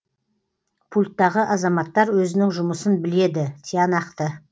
пульттағы азаматтар өзінің жұмысын біледі тиянақты